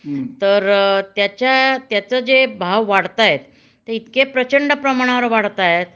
तर त्याच्या त्याच जे भाव वाढतायत ते इतकं प्रचंड प्रमाणावर वाढतायत